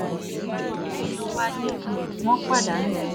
ọ̀pọ̀ àwọn èèyàn wa ni um wọ́n pa danú